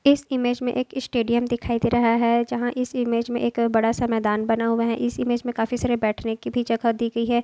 इस इमेज एक इ स्टेडियम दिखाई दे रहा हैं जहा इस इमेज में एक बड़ा सा मैदान बना हुआ हैं इस इमेज में काफी सारे बैठने की जगह दी गयी हैं।